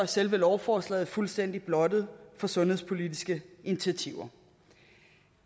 selve lovforslaget fuldstændig blottet for sundhedspolitiske initiativer